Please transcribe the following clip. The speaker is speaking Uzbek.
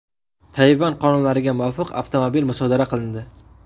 Tayvan qonunlariga muvofiq, avtomobil musodara qilindi.